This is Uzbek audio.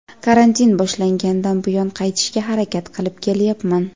karantin boshlangandan buyon qaytishga harakat qilib kelyapman.